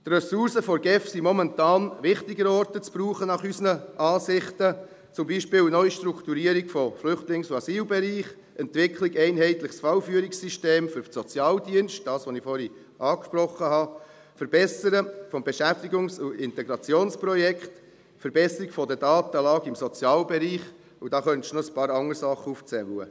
Die Ressourcen der GEF sind unserer Ansicht nach momentan an wichtigeren Orten zu brauchen, zum Beispiel bei NA-BE, der Entwicklung eines einheitlichen Fallführungssystems im Sozialbereich – das, was ich vorhin angesprochen habe –, das Verbessern des Beschäftigungs- und Integrationsprojekts, die Verbesserung der Datenlage im Sozialbereich, und da könnte man noch ein paar andere Dinge aufzählen.